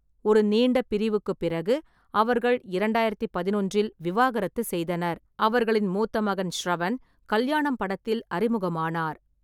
ஒரு நீண்ட பிரிவுக்குப் பிறகு, அவர்கள் இரண்டாயிரத்தி பதினொன்றில் விவாகரத்து செய்தனர். அவர்களின் மூத்த மகன் ஷ்ரவன் கல்யாணம் படத்தில் அறிமுகமானார்.